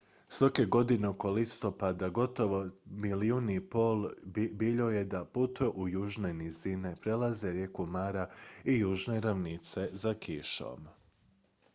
svake godine oko listopada gotovo 1,5 milijuna biljojeda putuje u južne nizine prelaze rijeku mara i južne ravnice za kišom